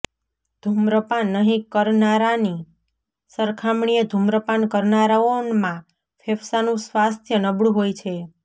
ધૂમ્રપાન નહીં કરનારાની સરખામણીએ ધૂમ્રપાન કરનારાઓમાં ફેફ્સાંનું સ્વાસ્થ્ય નબળું હોય છે